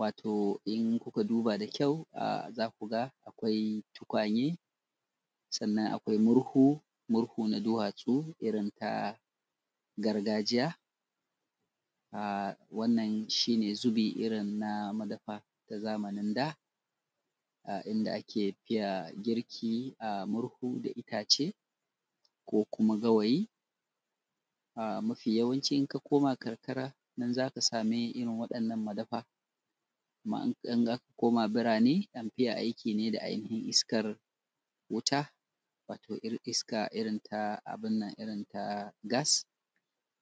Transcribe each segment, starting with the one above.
wato in kuka duba da kyau za ku ga akwai tukwanne sannan akwai murhu, murhu na duwatsur irin ta gargajiya a wannan shi ne zubo irin na madafa namu na da, a inda ake yin girki a murhu da itace, ko kuma gawayi a mafi yawanci idan karkara a nan za ka samu irin waɗannan madafa kuma idan za ka koma birane, am fi ye aiki ne da iskar wuta, wato irin iska irin abun nan ta gas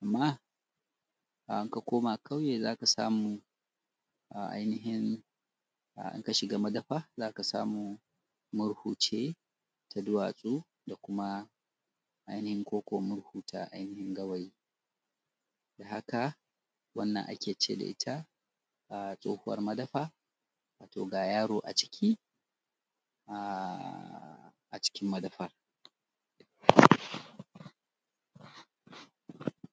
ko kuma in ka koma ƙauye za ka samu a ainihin in ka shiga madafa za ka samu murhu ce ta duwatsu. Ko kuma ta murhu gawayi da haka wanann ake cire ta a tsohuwar madafa wato ga yaro a ciki nan a cikin madafa.